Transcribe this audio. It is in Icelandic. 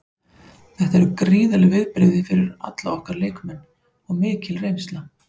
Þetta eru gríðarleg viðbrigði fyrir alla okkar leikmenn og mikil reynsla.